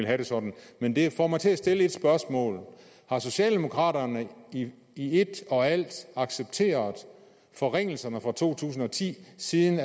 have det sådan men det får mig til at stille et spørgsmål har socialdemokraterne i i et og alt accepteret forringelserne fra to tusind og ti siden